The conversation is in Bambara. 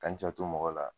Ka n janto mɔgɔ la